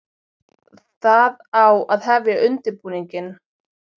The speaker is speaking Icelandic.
Það á að hefja undirbúninginn.